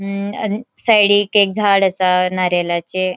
मू अ साइडिक एक झाड असा नारियलाचे.